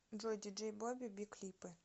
джой диджей бобби би клипы